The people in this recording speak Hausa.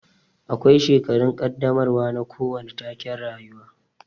Akwai shekarun kaddamarwa na kowane taken rayuwa